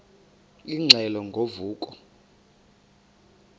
ingxelo ngo vuko